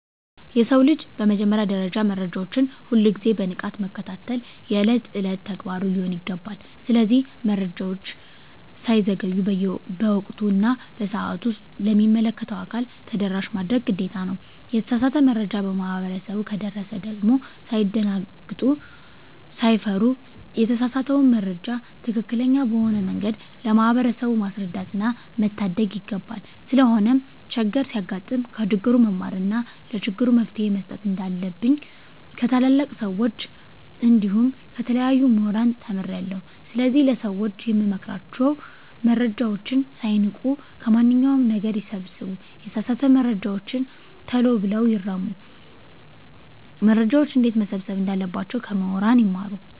የሰው ልጅ በመጀመሪያ ደረጃ መረጃዎችን ሁል ግዜ በንቃት መከታተል የእለት እለት ተግባሩ ሊሆን ይገባል። ስለዚህ መረጃወች ሳይዘገዩ በወቅቱ እና በሰአቱ ለሚመለከተው አካል ተደራሽ ማድረግ ግዴታ ነው። የተሳሳተ መረጃ ለማህበረሰቡ ከደረሰ ደግም ሳይደነግጡ ሳይፈሩ የተሳሳተውን መረጃ ትክክለኛ በሆነ መንገድ ለማህበረሰቡ ማስረዳትና መታደግ ይገባል። ስለሆነም ቸግር ሲያጋጥም ከችግሩ መማርና ለችግሩ መፈትሄ መስጠት እንንዳለብኝ ከታላላቅ ሰወች እንዲሁም ከተለያዩ ሙህራን ተምሬአለሁ። ስለዚህ ለሰወች የምመክራቸው መረጃወችን ሳይንቁ ከማንኛው ነገር ይሰብስቡ የተሳሳተ መረጃወችን ተሎ ብለው ይርሙ። መረጃወችን እንዴትመሰብሰብ እንዳለባቸው ከሙህራን ይማሩ።